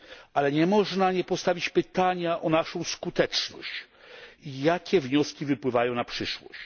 Ale nie można nie postawić pytania o naszą skuteczność i jakie wnioski wypływają na przyszłość.